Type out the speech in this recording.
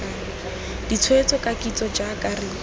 ditshwetso ka kitso jaaka re